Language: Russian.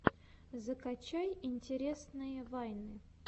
закачай интересные вайны